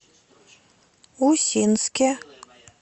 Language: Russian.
усинске